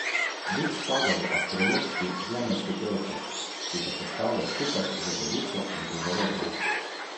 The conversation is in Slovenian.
Bik spada v astrološki zemeljski trojček, ki ga sestavlja skupaj z Devico in Kozorogom.